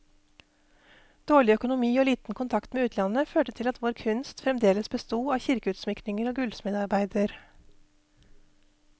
Dårlig økonomi og liten kontakt med utlandet, førte til at vår kunst fremdeles besto av kirkeutsmykninger og gullsmedarbeider.